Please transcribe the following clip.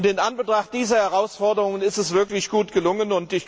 In Anbetracht dieser Herausforderungen ist sie wirklich gut gelungen.